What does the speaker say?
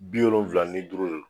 Bi wolonwula ni duuru de don